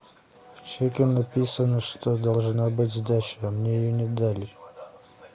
в чеке написано что должна быть сдача а мне ее не дали